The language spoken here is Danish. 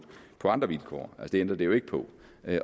andre vilkår det ændrer det jo ikke på